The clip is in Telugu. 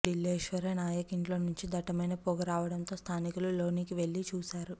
ఢిల్లేశ్వర నాయక్ ఇంట్లో నుంచి దట్టమైన పొగ రావడంతో స్థానికులు లోనికి వెళ్లి చూశారు